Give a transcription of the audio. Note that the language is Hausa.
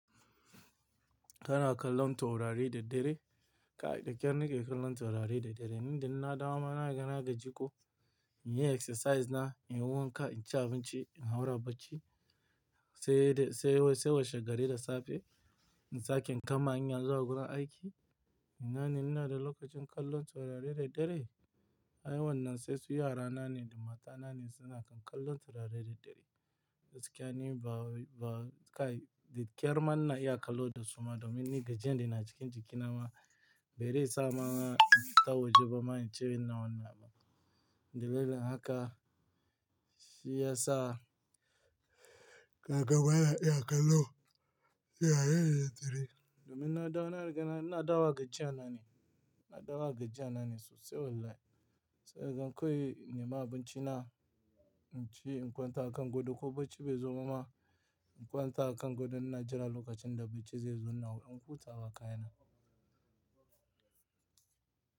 Kana kallon taurari da dare? Kai dakyar nake kallon taurari da dare. Ni inna na dawo ma, na riga na gaji ko, in yi exercise na, in yi wanka, in ci abinci, in haura bacci, sai dai-- sai wai-- sai washe gari da safe, in sake in kama hanya zuwa gurin aiki. Ina ne ina da lokacin kallon taurari da dare? Ai wannan sai su yara na ne da mata na ne suna kan kallon taurari da dare. Gaskiya ni ba wai- ba kai, da ƙyar ma ina iya kallo dasu ma domin ni gajiyan da yana cikin jiki na ma, bare sa ma mana in fita waje ba ma, in ce ina wannan. Dalilin haka, shi ya sa ka ga bana iya kallo, taurari da daddare. Domin inna dawo na riga na ina dawowa gajiya na ne. Na dawo ga jiya na ne sosai wallahi. Sai kaga kawai in nema abinci na, in ci, in kwanta a kan godo. Ko bacci bai zo ba ma, in kwanta a kan gadon ina jira lokacin da bacci zai zo na, ina wurin hutawa kayana.